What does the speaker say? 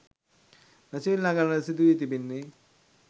මැසිවිලි නගන්නට සිදුවී තිබෙන්නේ